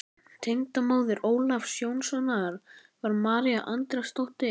Tengdamóðir Ólafs Jónssonar var María Andrésdóttir.